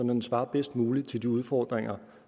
den svarer bedst muligt til de udfordringer